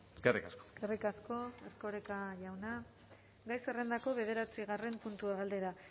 eskerrik asko eskerrik asko erkoreka jauna gai zerrendako bederatzigarren puntua galdera